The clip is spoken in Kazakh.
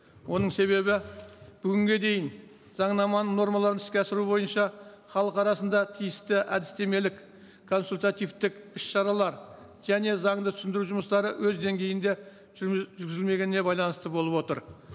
оның себебі бүгінге дейін заңнаманың нормаларын іске асыру бойынша халық арасында тиісті әдістемелік консультативтік іс шаралар және заңды түсіндіру жұмыстары өз деңгейінде жүргізілмегеніне байланысты болып отыр